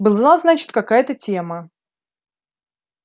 была значит какая-то тема